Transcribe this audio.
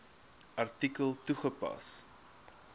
artikel toegepas